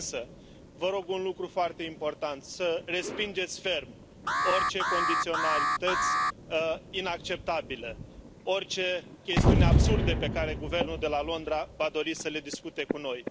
Însă, vă rog un lucru foarte important, să respingeți ferm orice condiționalități inacceptabile, orice chestiuni absurde pe care guvernul de la Londra va dori să le discute cu noi.